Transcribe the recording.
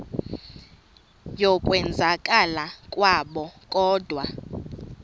yokwenzakala kwabo kodwa